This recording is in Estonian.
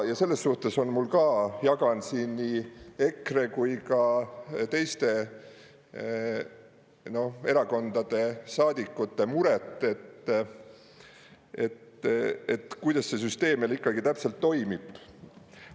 Ja selles suhtes on mul ka, jagan siin nii EKRE kui ka teiste erakondade saadikute muret, et kuidas see süsteem meil ikkagi täpselt toimib.